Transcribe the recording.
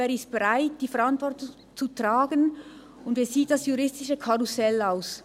Wer ist bereit, die Verantwortung zu tragen, und wie sieht das juristische Karussell aus?